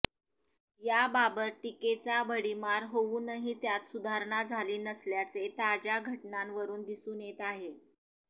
याबाबत टीकेचा भडिमार होऊनही त्यात सुधारणा झाली नसल्याचे ताज्या घटनांवरुन दिसून येत आहे